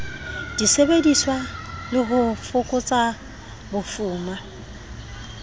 disebediswa le ho fokotsa bofuma